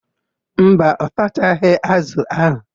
Mba, ọ tachaghị ázụ̀ áhụ̀.